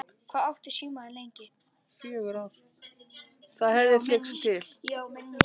Það hefði flykkst til